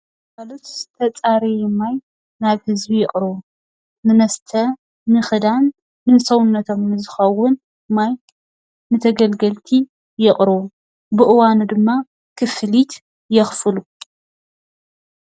ግልጋሎት ዝተፃረየ ማይ ናብ ህዝቢ የቅርቡ ንመስተ ንኽዳን ንሰውነቶም ዝከውን ማይ ንተገልገልቲ የቅርቡ። ብእዋኑ ድማ ክፍሊት የኽፍሉ።